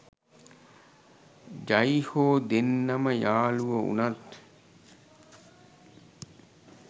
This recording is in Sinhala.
ජයි හෝ දෙන්නම යාළුවො වුනත්